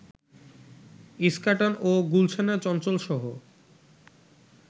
ইস্কাটন ও গুলশানে চঞ্চলসহ